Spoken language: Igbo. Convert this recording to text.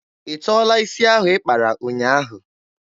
Ị tọọla isi ahụ ị kpara ụnyaahụ?